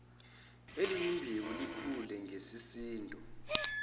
elinembewu likhule ngesisindo